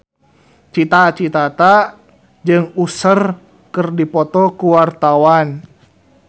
Cita Citata jeung Usher keur dipoto ku wartawan